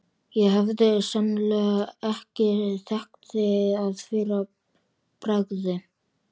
Ég hefði sennilega ekki þekkt þig að fyrra bragði.